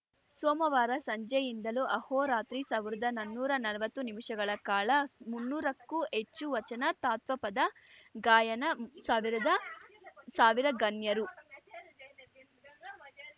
ಸೋಮವಾರ ಸಂಜೆಯಿಂದಲೂ ಅಹೋರಾತ್ರಿ ಸಾವ್ರ್ದಾ ನನ್ನೂರಾ ನಲ್ವತ್ತು ನಿಮಿಷಗಳ ಕಾಲ ಮುನ್ನೂರಕ್ಕೂ ಹೆಚ್ಚು ವಚನ ತತ್ವಪದ ಗಾಯನ ಸಾವಿರದ ಸಾವಿರ ಗಣ್ಯರು